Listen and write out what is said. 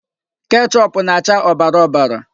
Kechoopụ na-acha ọbara ọbara.